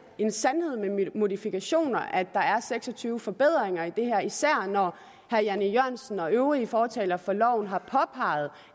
en sandhed med modifikationer at der er seks og tyve forbedringer i det her især når herre jan e jørgensen og øvrige fortalere for loven har påpeget